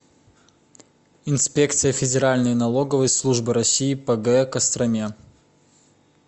инспекция федеральной налоговой службы россии по г костроме